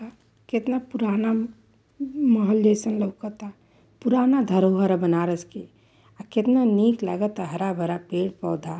केतना पुराना म्-महल जइसन लउकता। पुराना धरोहर ह बनारस के। आ केतना नीक लागता हरा-भरा पेड़-पौधा।